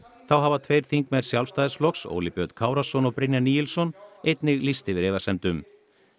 þá hafa tveir þingmenn Sjálfstæðisflokks Óli Björn Kárason og Brynjar Níelsson einnig lýst yfir efasemdum